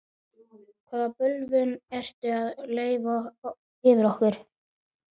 Hvaða bölvun ertu að leiða yfir okkur?